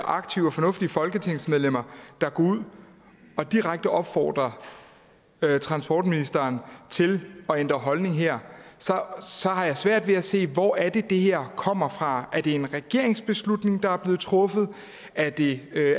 aktive og fornuftige folketingsmedlemmer der går ud og direkte opfordrer transportministeren til at ændre holdning her så har jeg svært ved at se hvor det er det her kommer fra er det en regeringsbeslutning der er blevet truffet er det